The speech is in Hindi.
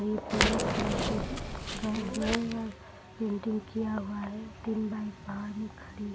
ये पीला पेंटिंग किया हुआ है तीन बाइक बाहर में खड़ी --